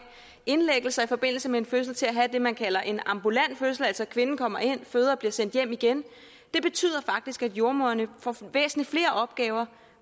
indlæggelser i forbindelse med en fødsel til at have det man kalder en ambulant fødsel altså at kvinden kommer ind føder og bliver sendt hjem igen det betyder faktisk at jordemødrene får væsentlig flere opgaver